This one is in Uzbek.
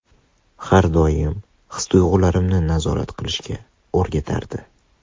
Har doim his-tuyg‘ularimni nazorat qilishga o‘rgatardi.